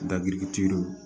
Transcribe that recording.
Dabiriki lo